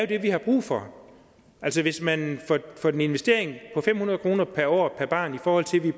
det vi har brug for hvis man for en investering på fem hundrede kroner per år per barn i forhold til at vi